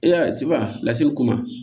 E y'a ye tibalaseli ko ma